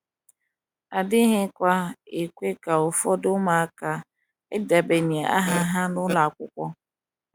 adighi kwa ekwe ka ụfọdụ ụmụaka idebanye aha ha n’ụlọ akwụkwọ.